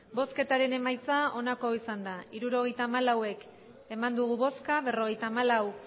botoak hirurogeita hamalau bai berrogeita hamalau